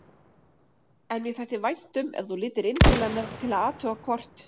En mér þætti vænt um ef þú litir inn til hennar til að athuga hvort